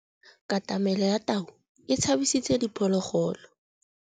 Katamêlô ya tau e tshabisitse diphôlôgôlô.